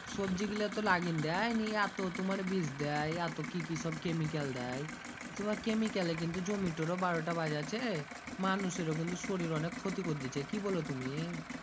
সবজি গীলা তো লাগিন দেয় নিয়ে এত তুমার বিষ দেয় এত কি কি সব Chemical দেয় তুমার Chemical এ কিন্তু জমিটারও বারোটা বাজাছে মানুষেরও কিন্তু শরীরে অনেক ক্ষতি করেদিছে কি বলো তুমি